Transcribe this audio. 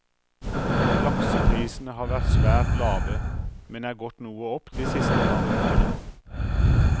Lakseprisene har vært svært lave, men er gått noe opp de siste par ukene.